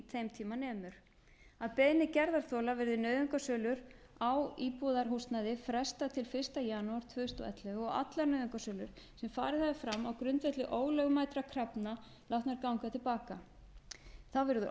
þeim tíma nemur að beiðni gerðarþola verði nauðungarsölu á íbúðarhúsnæði frestað til fyrsta júní tvö þúsund og ellefu og allar nauðungarsölur sem farið hafa fram á grundvelli ólögmætra krafna látnar ganga til baka þá verði